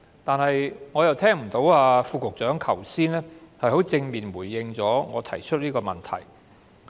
但是，剛才我聽不到局長有正面回應我這個問題。